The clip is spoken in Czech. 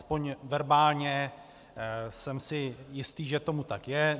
Aspoň verbálně jsem si jistý, že tomu tak je.